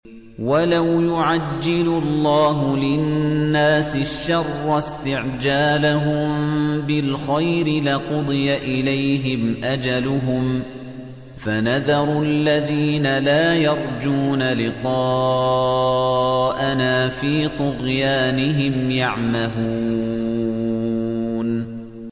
۞ وَلَوْ يُعَجِّلُ اللَّهُ لِلنَّاسِ الشَّرَّ اسْتِعْجَالَهُم بِالْخَيْرِ لَقُضِيَ إِلَيْهِمْ أَجَلُهُمْ ۖ فَنَذَرُ الَّذِينَ لَا يَرْجُونَ لِقَاءَنَا فِي طُغْيَانِهِمْ يَعْمَهُونَ